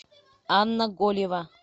анна голева